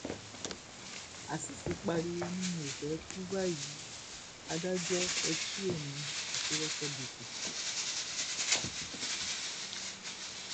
azeez pariwo ni mi ò fẹẹ kú báyìí adájọ ẹ tu èmi àti rọkẹbètè